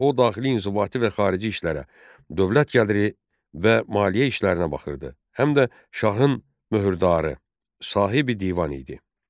O daxili inzibati və xarici işlərə, dövlət gəliri və maliyyə işlərinə baxırdı, həm də şahın möhürdarı, Sahibi Divan idi.